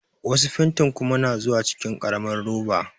Wasu fantin kuma na zuwa cikin ƙaramar roba.